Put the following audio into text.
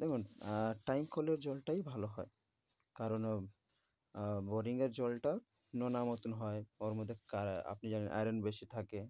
দেখুন আহ time কলের জলটাই ভালো হয়। কারণ আহ boring এর জলটা নোনা মতন হয়। ওর মধ্যে আপনি কা~ আপনি জানেন iron বেশি থাকে।